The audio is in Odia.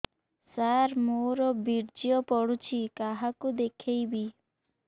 ସାର ମୋର ବୀର୍ଯ୍ୟ ପଢ଼ୁଛି କାହାକୁ ଦେଖେଇବି